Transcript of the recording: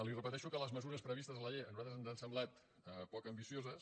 li repeteixo que les mesures previstes a la llei a nosaltres ens han semblat poc ambicioses